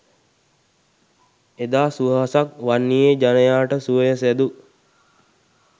එදා සුවහසක් වන්නියේ ජනයාට සුවය සැදු